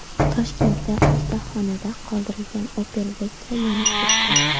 Toshkentda ustaxonada qoldirilgan Opel Vectra yonib ketdi .